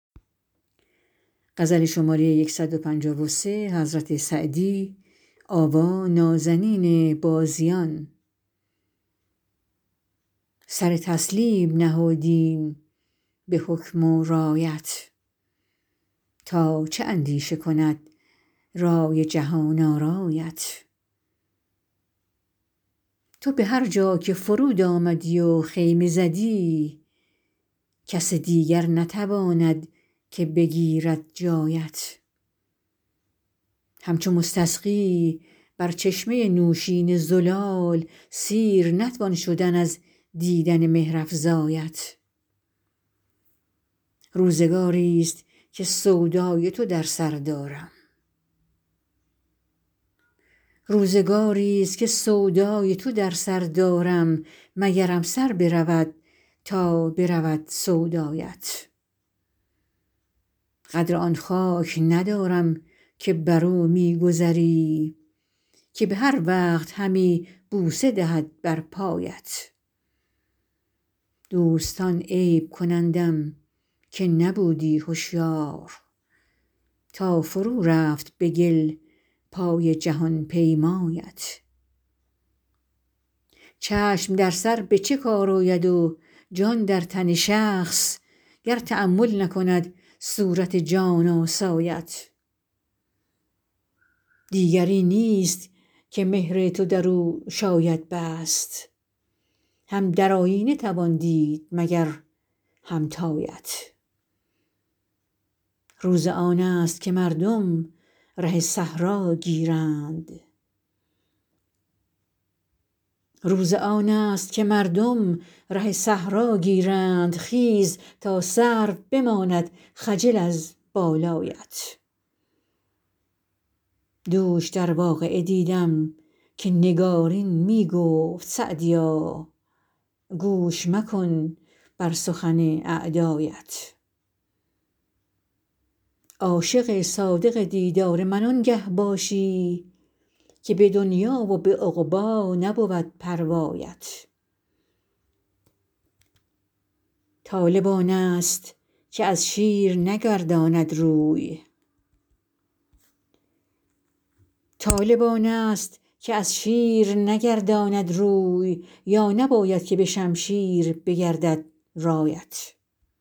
سر تسلیم نهادیم به حکم و رایت تا چه اندیشه کند رای جهان آرایت تو به هر جا که فرود آمدی و خیمه زدی کس دیگر نتواند که بگیرد جایت همچو مستسقی بر چشمه نوشین زلال سیر نتوان شدن از دیدن مهرافزایت روزگاریست که سودای تو در سر دارم مگرم سر برود تا برود سودایت قدر آن خاک ندارم که بر او می گذری که به هر وقت همی بوسه دهد بر پایت دوستان عیب کنندم که نبودی هشیار تا فرو رفت به گل پای جهان پیمایت چشم در سر به چه کار آید و جان در تن شخص گر تأمل نکند صورت جان آسایت دیگری نیست که مهر تو در او شاید بست هم در آیینه توان دید مگر همتایت روز آن است که مردم ره صحرا گیرند خیز تا سرو بماند خجل از بالایت دوش در واقعه دیدم که نگارین می گفت سعدیا گوش مکن بر سخن اعدایت عاشق صادق دیدار من آنگه باشی که به دنیا و به عقبی نبود پروایت طالب آن است که از شیر نگرداند روی یا نباید که به شمشیر بگردد رایت